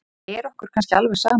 Er okkur kannski alveg sama?